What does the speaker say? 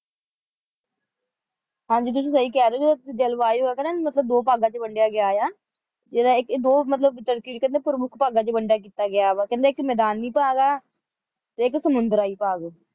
ਹਾਂ ਜਿਤੁਸੀਂ ਸਹੀ ਕਹਿ ਰਹੇ ਹੋ ਕਿ ਜਲਵਾਯੂ ਹੈਗਾ ਨਾ ਮਤਲਬ ਇਹਨੂੰ ਦੋ ਭਾਗਾਂ ਵਿੱਚ ਵੰਡਿਆ ਗਿਆ ਹੈ ਜਿਹਦਾ ਇੱਕ ਇਹ ਦੋ ਮਤਲਬ ਪ੍ਰਮੁੱਖ ਭਾਗਾਂ ਵਿੱਚ ਵੰਡੀ ਕੀਤਾ ਗਿਆ ਹੈ ਇੱਕ ਮੈਦਾਨੀ ਭਾਗ ਹੈ ਤੇ ਇੱਕ ਸਮੁੰਦਰੀ ਭਾਗ